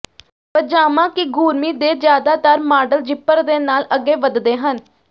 ਪਜਾਮਾ ਕਿਗੂਰਮਿੀ ਦੇ ਜ਼ਿਆਦਾਤਰ ਮਾਡਲ ਜ਼ਿੱਪਰ ਦੇ ਨਾਲ ਅੱਗੇ ਵਧਦੇ ਹਨ